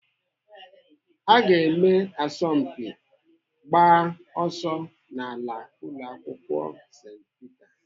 Aga eme asọmpi ịgba ọsọ n'ala ụlọakwụkwọ St Peter.